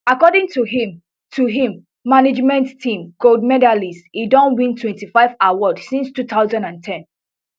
according to im to im management team gold medalist e don win twenty-five awards since two thousand and ten